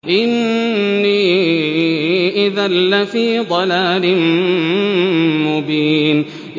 إِنِّي إِذًا لَّفِي ضَلَالٍ مُّبِينٍ